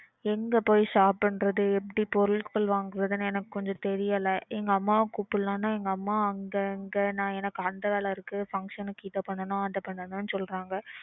எங்க போய் shop பண்றது? எப்படி பொருள்கள் வாங்கறதுன்னு எனக்கு கொஞ்சம் தெரியல எங்கம்மாவ கூப்பிடலாம்னா எங்கம்மா அங்க அங்க நான் எனக்கு அந்த வேலை இருக்கு function க்கு இதை பண்ணனும் அதை பண்ணனும்னு சொல்றாங்க.